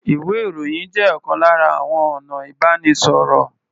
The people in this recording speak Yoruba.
Ìwé-ìròyìn jẹ́ ọ̀kan lára àwọn ọ̀nà ìbánisọ̀rọ̀.